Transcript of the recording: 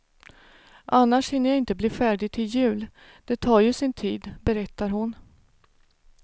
Annars hinner jag inte bli färdig till jul, det tar ju sin tid, berättar hon.